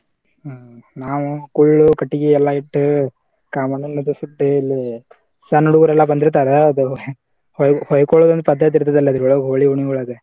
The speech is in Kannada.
ಹ್ಮ್‌ ನಾವು ಕುಳ್ಳು ಕಟಗಿ ಎಲ್ಲಾ ಇಟ್ಟು ಇಲ್ಲಿ ಸಣ್ಣ ಹುಡಗೋರೆಲ್ಲಾ ಬಂದಿರ್ತಾರಾ ಹೊಯ್ಕೋ ~ ಹೊಯ್ಕೊಳೋದ ಒಂದ ಪದ್ಧತಿ ಇರ್ತೇತಿ ಅಲ ಅದ್ರೊಳಗ ಹೋಳಿ ಹುಣ್ಣಿವಿ ಒಳಗ.